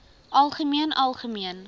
algemeen algemeen